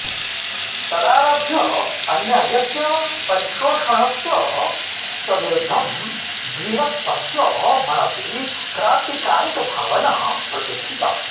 तदारभ्य अन्यायस्य परिशोषणस्य च विरुद्धं वीरप्पस्य मनसि क्रान्तिकारिकभावना प्रतिष्ठिता